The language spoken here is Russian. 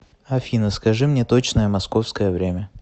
афина скажи мне точное московское время